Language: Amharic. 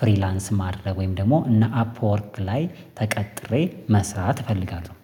ፍሪላንስ ማድረግ ወይም ደግሞ እነ አፕወርክ ላይ ተቀጥሬ መስራት እፈልጋለሁ።